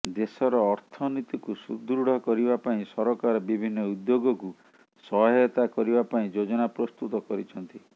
ଦେଶର ଅର୍ଥନୀତିକୁ ସୁଦୃଢ଼ କରିବା ପାଇଁ ସରକାର ବିଭିନ୍ନ ଉଦ୍ୟୋଗକୁ ସହାୟତା କରିବା ପାଇଁ ଯୋଜନା ପ୍ରସ୍ତୁତ କରିଛନ୍ତି